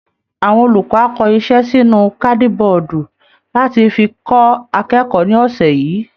Awọn olùkọ́ á kọ iṣẹ́ sínú kádíbọọ̀dù láti fi kọ́ akẹ́kọ̀ọ́ ní ọ̀sẹ̀ yìí